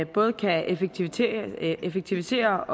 både kan effektivisere effektivisere